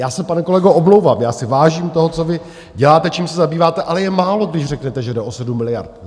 Já se, pane kolego, omlouvám, já si vážím toho, co vy děláte, čím se zabýváte, ale je málo, když řeknete, že jde o 7 miliard.